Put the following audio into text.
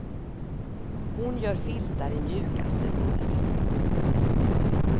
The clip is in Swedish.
Hon gör filtar i mjukaste ull.